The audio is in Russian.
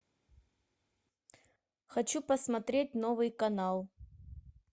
хочу посмотреть новый канал